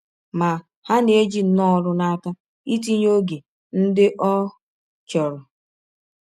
Ma, ha na - eji nnọọ ọrụ n’aka ịtịnye ọge ndị ọ chọrọ.